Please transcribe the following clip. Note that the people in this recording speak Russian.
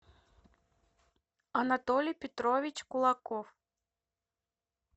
анатолий петрович кулаков